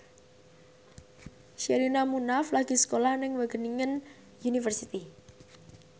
Sherina Munaf lagi sekolah nang Wageningen University